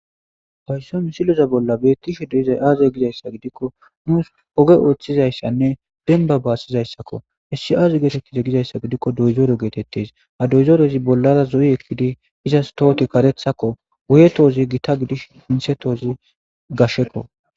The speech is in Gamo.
Hayissa siloza bolla beettishe doyizay aaze gizayssa gidikko nuus oge ooththizayssanne denba baassizayssakko hissi aazi geetettize gizayssa gidikko doyzoore geetettes ha doyzorezi bollara zo7i ekkidi izas tooti karethakko guye toozi gita gidish hinsetoozi gashekko.